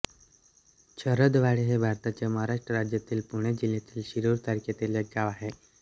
शरदवाडी हे भारताच्या महाराष्ट्र राज्यातील पुणे जिल्ह्यातील शिरूर तालुक्यातील एक गाव आहे